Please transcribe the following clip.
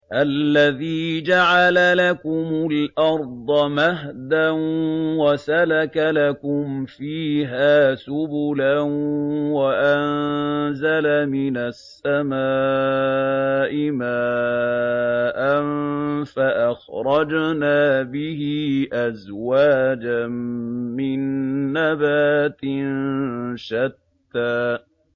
الَّذِي جَعَلَ لَكُمُ الْأَرْضَ مَهْدًا وَسَلَكَ لَكُمْ فِيهَا سُبُلًا وَأَنزَلَ مِنَ السَّمَاءِ مَاءً فَأَخْرَجْنَا بِهِ أَزْوَاجًا مِّن نَّبَاتٍ شَتَّىٰ